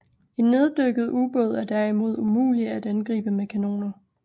En neddykket ubåd er derimod umulig at angribe med kanoner